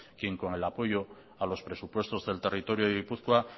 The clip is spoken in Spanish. quien con el apoyo a los presupuestos del territorio de gipuzkoa